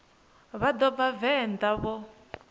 vha no bva venḓa vho